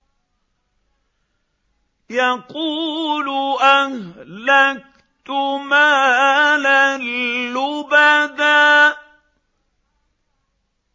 يَقُولُ أَهْلَكْتُ مَالًا لُّبَدًا